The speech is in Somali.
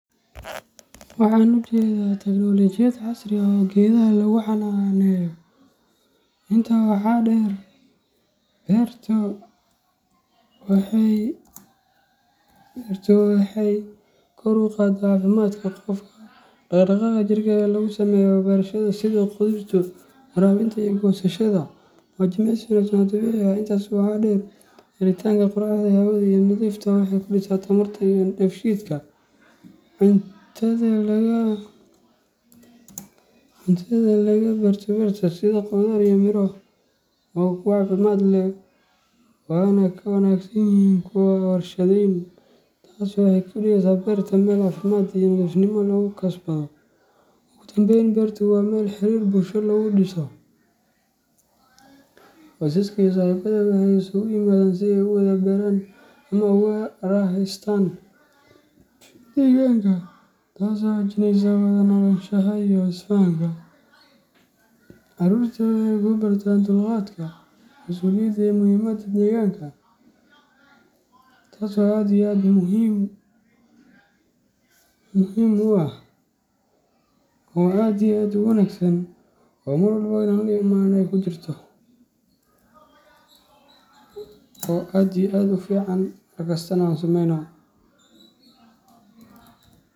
Waxan u jedaa teknolojiyad casri ah oo gedaha lagu xananeyo .Intaa waxaa dheer, beertu waxay kor u qaadaa caafimaadka qofka. Dhaqdhaqaaqa jirka ee lagu sameeyo beerashada, sida qodista, waraabinta iyo goosashada, waa jimicsi wanaagsan oo dabiici ah. Intaas waxaa dheer, helitaanka qorraxda iyo hawada nadiifta ah waxay kordhisaa tamarta iyo dheef shiidka jirka. Cuntada laga beerto beerta, sida khudaar iyo miro, waa kuwo caafimaad leh, waana ka wanaagsan yihiin kuwa warshadaysan. Taas waxay ka dhigaysaa beerta meel caafimaad iyo nadiifnimo lagu kasbado. Ugu dambeyn, beertu waa meel xiriir bulsho lagu dhiso. Qoysaska iyo saaxiibada waxay isugu yimaadaan si ay u wada beeraan ama ugu raaxaystaan deegaanka, taasoo xoojinaysa wada noolaanshaha iyo isfahanka. Caruurta waxay ku bartaan dulqaadka, masuuliyadda iyo muhiimadda deegaanka. Sidaas darteed, sababaha beerta loo jecel yahay ma aha oo keliya quruxda muuqaalka, oo aad iyo aad u fican mar kastana an sumeyno.